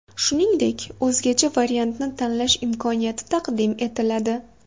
Shuningdek, o‘zgacha variantni tanlash imkoniyati taqdim etiladi.